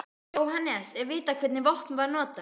Jóhannes: Er vitað hvernig vopn var notað?